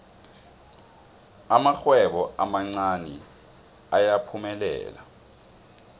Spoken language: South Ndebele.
amarhwebo amancani ayaphumelela